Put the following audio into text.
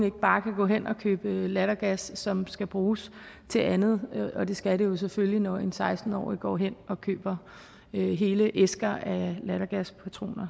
ikke bare kunne gå hen og købe lattergas som skal bruges til et andet og det skal det jo selvfølgelig når en seksten årig går hen og køber hele æsker af lattergaspatroner